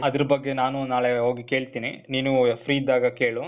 ಅದ್ರ್ ಬಗ್ಗೆ ನಾನು ನಾಳೆ ಹೋಗಿ ಕೇಳ್ತೀನಿ. ನೀನೂ, free ಇದ್ದಾಗ ಕೇಳು.